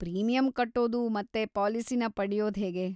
Premium ಕಟ್ಟೋದು ಮತ್ತೆ ಪಾಲಿಸಿನ ಪಡ್ಯೋದ್ಹೇಗೆ?